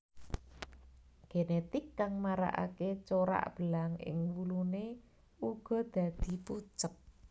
Genetik kang marakaké corak belang ing wuluné uga dadi pucet